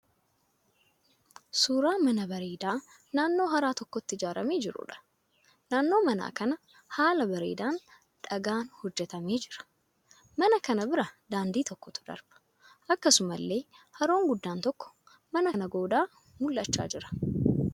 Suuraa mana bareedaa naannoo hara tokkooti ijaaramee jiruudha. Naannoon mana kanaa haala bareedaan dhagaan hojjetamee jira. Mana kana bira daandii tokkotu darba. Akkasumallee haroon guddaan tokko mana kana goodaa mul'achaa jira.